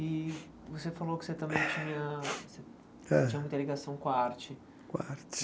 E você falou que você também tinha Hã Tinha muita ligação com a arte. Com a arte